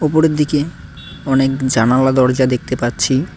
উপরের দিকে অনেক জানালা দরজা দেখতে পারছি।